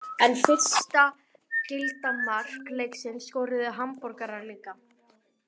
En fyrsta gilda mark leiksins skoruðu Hamborgarar líka.